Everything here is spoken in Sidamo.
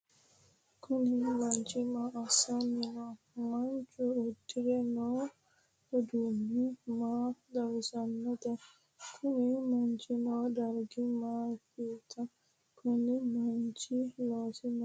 Kuni manchi maa asani no? Manchu udire noo udano maa xawisanote? Kuni manchi noo darig mamat? Koni manchihu loosisi maat?